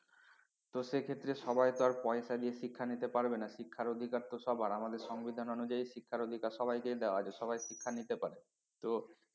তো সেই ক্ষেত্রে সবাই তো আর পয়সা দিয়ে শিক্ষা নিতে পারবেনা শিক্ষার অধিকার তো সবার আমাদের সংবিধান অনুযায়ী শিক্ষার অধিকার সবাইকে দেওয়া আছে সবাই শিক্ষা নিতে পারে তো